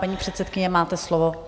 Paní předsedkyně, máte slovo.